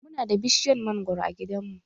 Mu na da bishiyar mangwaro a gidan mu.